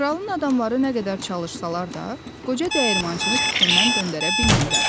Kralın adamları nə qədər çalışsalar da, qoca dəyirmançını fikrindən döndərə bilmirlər.